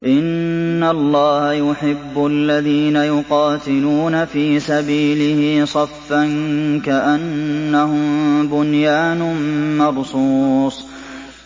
إِنَّ اللَّهَ يُحِبُّ الَّذِينَ يُقَاتِلُونَ فِي سَبِيلِهِ صَفًّا كَأَنَّهُم بُنْيَانٌ مَّرْصُوصٌ